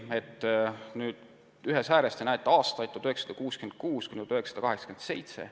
Graafiku ühes ääres näete aastaid 1966–1987.